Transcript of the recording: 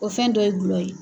O fɛn dɔ ye gulɔ ye.